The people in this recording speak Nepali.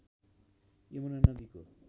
यमुना नदीको